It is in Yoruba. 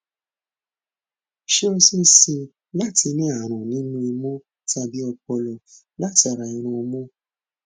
ṣé ó ṣe é ṣe láti ní àrùn nínú imú tàbí ọpọlọ látara irunmú